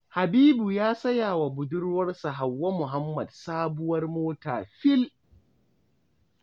Habibu ya saya wa budurwarsa Hauwa Muhammad sabuwar mota fil!